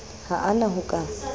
ha a na ho ka